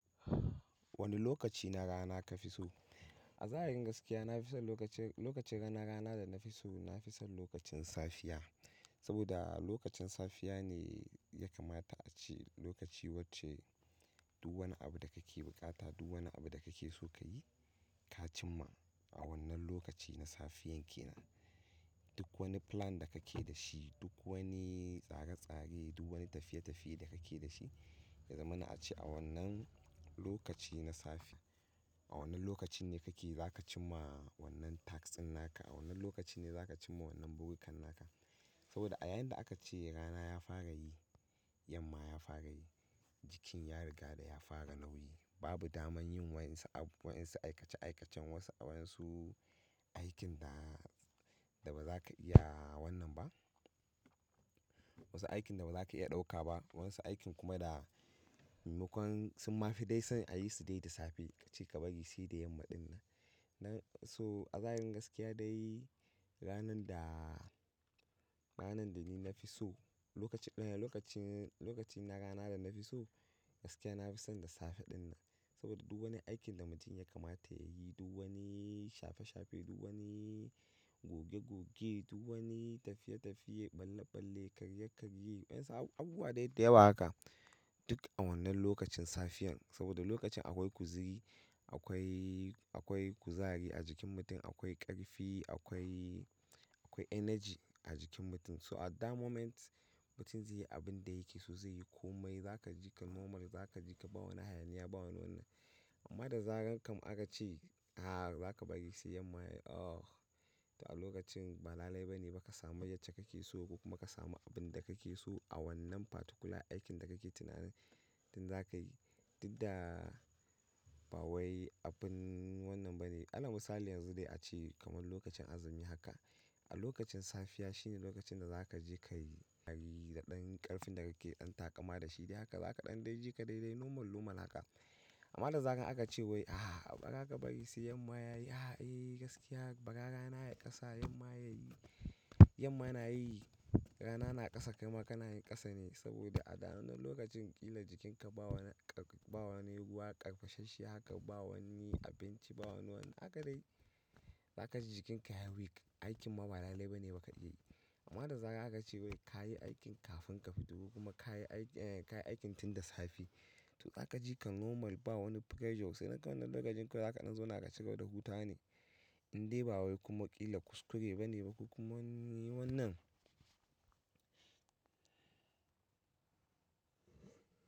Wani lokaci na rana ka fi so? A zahirin gaskiya na fi son lokacin, lokacin rana rana da na fi so, na fi son lokacin safiya. Saboda lokacin safiya ne ya kamata a ce lokaci wacce duk wani abu da kake buƙata, duk wani abu da kake so ka yi, ka cimma a wannan lokaci na safiyan ke nan. Duk wani plan da kake da shi, duk wani tsare-tsare, duk wani tafiye-tafiye da kake da shi, ya zamana a ce a wannan lokaci na safe, a wannan lokacin ne kake zaka cimma wannan task ɗin naka, a wannan lokacin ne zaka cimma wannan buri kan naka. Saboda a yayin da aka ce rana ya fara yi, yamma ya fara yi, jikin ya riga da ya fara nauyi. Babu daman yin wa'insu abu, wa'insu aikace-aikacen, wasu wa'insu aikin da ba za ka iya wannan ba. Wasu aikin da bazaka iya ɗauka ba wa'insu aikin kuma da maimakon sun ma fi dai son ayi su dai da safe ace ka bari sai da yamma ɗin nan So a zahirin gaskiya dai ranan da, ranan da ni na fi so, lokacin, lokacin, lokacin na rana da na fi so gaskiya na fi son da safe ɗin nan. Saboda duk wani aikin da mutum ya kamata ya yi, duk wani shafe-shafe, duk wani goge-goge, duk wani tafiye-tafiye, ɓalle-ɓalle, karye-karye, wa'insu abubuwa dai da yawa haka, duk a wannan lokacin safiyar. Saboda lokacin akwai kuziri, akwai, akwai kuzari a jikin mutum, akwai ƙarfi, akwai, akwai energy a jikin mutum. So at that moment mutum zai yi abin da yake so zai yi komai, za ka ji ka normal, za ka ji ka ba wani hayaniya, ba wani wannan. Amma da zaran kam aka ce, a zaka bari sai yamma yayi, oh, to a lokacin ba lalai ba ne ba ka samu yacce kake so ko kuma ka samu abin da kake so a wannan particular aikin da kake tunanin tin zaka yi. Duk da ba wai abin wannan bane. Ala misali yanzu dai a ce kamar lokacin azumi haka. A lokacin safiya shine lokacin da za ka je ka yi da ɗan ƙarfin da kake dan taƙama da shi dai haka za ka ɗan dai ji ka dai dai normal, normal haka. Amma da zaran aka ce wai a ba ka bari sai yamma ya yi, a eh gaskiya ba ka rana ya ƙasa, yamma ya yi, yamma na yi rana na ƙasa kai ma kana yin ƙasa ne saboda a wannan lokacin ƙila jikinka ba wani, ba wani ruwa, ƙarfashashi haka, ba wani abinci, ba wani wannan haka dai. Za ka ji jikinka ya weak, aikin ma ba lalai ba ne ba ka iya yi. Amma da zaran aka ce wai ka yi aikin kafin ka fito kuma ka yi, ka yi aikin tin da safe. To za ka ji ka normal, ba wani pressure sai nan kawai nan lokacin kawai wannan lokacin zaka zauna ka cigaba da hutawa ne. Indai ba wai kuma ƙila kuskure ba ne ba ko kuma wani wannan.